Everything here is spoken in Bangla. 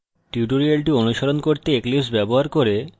tutorial অনুসরণ করতে eclipse ব্যবহার করে